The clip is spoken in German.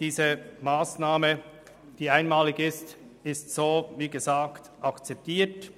Diese einmalige Massnahme wird, wie gesagt, akzeptiert.